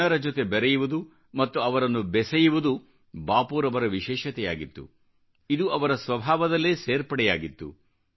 ಜನರ ಜೊತೆ ಬೆರೆಯುವುದು ಮತ್ತು ಅವರನ್ನು ಬೆಸೆಯುವುದು ಬಾಪೂರವರ ವಿಶೇಷತೆಯಾಗಿತ್ತು ಇದು ಅವರ ಸ್ವಭಾವದಲ್ಲೇ ಸೇರ್ಪಡೆಯಾಗಿತ್ತು